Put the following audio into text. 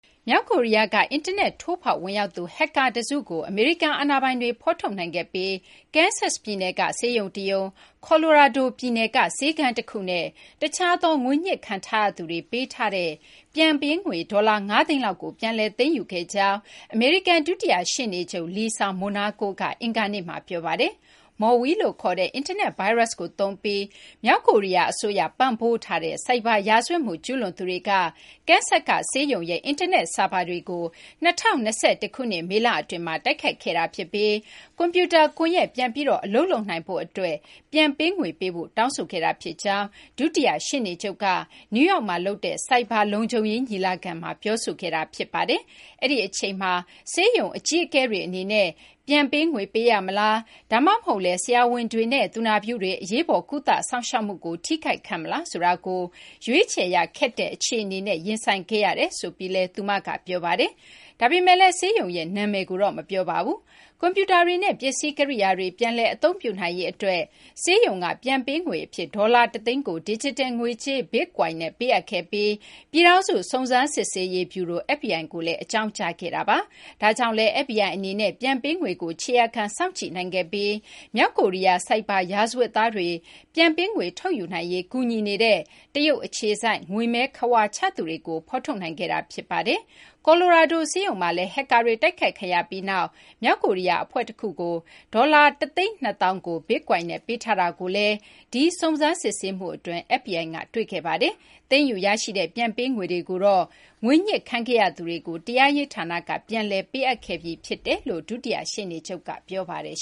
မြောက်ကိုရီးယားက အင်တာနက် ထိုးဖောက်ဝင်ရောက်သူ ဟက်ကာ တစုကို အမေရိကန်အာဏာပိုင်တွေ ဖော်ထုတ်နိုင်ခဲ့ပြီး Kansas ပြည်နယ်က ဆေးရုံ တရုံ၊ ကော်လိုရာဒိုပြည်နယ်က ဆေးခန်း တခုနဲ့ တခြားသော ငွေညှစ်ခံထားရသူတွေ ပေးထားတဲ့ ပြန်ပေးငွေ ဒေါ်လာ ၅ သိန်းလောက်ကို ပြန်လည် သိမ်းယူခဲ့ကြောင်း အမေရိကန် ဒုတိယ ရှေ့နေချုပ် Lisa Monaco က အင်္ဂါနေ့မှာ ပြောပါတယ်။ Maui လို့ ခေါ်တဲ့ အင်တာနက် ဗိုင်းရပ်စ်ကိုသုံးပြီး မြောက်ကိုရီးယား အစိုးရ ပံ့ပိုးထားတဲ့ ဆိုက်ဘာ ရာဇဝတ်မှု ကျူးလွန်သူတွေက Kansas က ဆေးရုံရဲ့ အင်တာနက် ဆာဗာတွေကို ၂၀၂၁ ခုနှစ် မေလ အတွင်းမှာ တိုက်ခိုက်ခဲ့တာ ဖြစ်ပြီး ကွန်ပြူတာ ကွန်ရက် ပြန်ပြီး အလုပ်လုပ်နိုင်ဖို့ အတွက် ပြန်ပေးငွေ ပေးဖို့ တောင်းဆိုခဲ့တာ ဖြစ်ကြောင်း ဒုတိယ ရှေ့နေချုပ် Monaco က နယူးယောက်မှာ လုပ်တဲ့ ဆိုက်ဘာ လုံခြုံရေး ညီလာခံ တခုမှာ ပြောဆိုခဲ့တာပါ။ အဲဒီအချိန်မှာ ဆေးရုံအကြီးအကဲတွေ အနေနဲ့ ပြန်ပေးငွေ ပေးရမလား ဒါမှမဟုတ်လည်း ဆရာဝန်တွေနဲ့ သူနာပြုတွေ အရေးပေါ် ကုသစောင့်ရှောက်မှုကို ထိခိုက်ခံမလားဆိုတာကို ရွေးချယ်ရ ခက်ခဲတဲ့ အခြေအနေနဲ့ ရင်ဆိုင်ခဲ့ရတယ်လို့လည်း သူမက ပြောပါတယ်။ ဒါပေမယ့်လည်း ဆေးရုံရဲ့ နာမည်ကိုတော့ မပြောပါဘူး။ ကွန်ပြူတာတွေနဲ့ ပစ္စည်း ကိရိယာတွေ ပြန်လည် အသုံးပြုနိုင်ရေး အတွက် ဆေးရုံက ပြန်ပေးငွေ အဖြစ် ဒေါ်လာ ၁ သိန်းကို ဒီဂျစ်တယ် ငွေကြေး Bitcoin နဲ့ ပေးအပ်ခဲ့ပြီး ပြည်ထောင်စု စုံစမ်းစစ်ဆေးရေး ဗျူရို FBI ကိုလည်း အကြောင်းကြားခဲ့တာပါ။ ဒါကြောင့်လည်း FBI အနေနဲ့ ပြန်ပေးငွေကို ခြေရာခံ စောင့်ကြည့်နိုင်ခဲ့ပြီး မြောက်ကိုရီးယား ဆိုက်ဘာ ရာဇဝတ်သားတွေ ပြန်ပေးငွေ ထုတ်ယူနိုင်ရေး ကူညီနေတဲ့ တရုတ် အခြေစိုက် ငွေမဲခဝါချသူတွေကို ဖော်ထုတ်နိုင်ခဲ့တာ ဖြစ်ပါတယ်။ ကာ်လိုရာဒို ဆေးရုံမှာလည်း ဟက်ကာတွေ တိုက်ခိုက်ခံရပြီးနောက် မြောက်ကိုရီးယား အဖွဲ့ တခုကို ဒေါ်လာ ၁၂၀,၀၀၀ ကို Bitcoin နဲ့ ပေးထားတာကိုလည်း ဒီ စုံစမ်းစစ်ဆေးမှု အတွင်းမှာ FBI က တွေ့ခဲ့ပါတယ်။ သိမ်းယူ ရရှိတဲ့ ပြန်ပေးငွေတွေကို ငွေညှစ်ခံခဲ့ရသူတွေကို တရားရေး ဌာနက ပြန်လည် ပေးအပ်ခဲ့ကြောင်းလည်း ဒုတိယ ရှေ့နေချုပ်က ပြောပါတယ်